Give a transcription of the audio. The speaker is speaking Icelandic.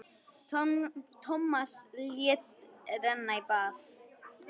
Tómas lét renna í bað.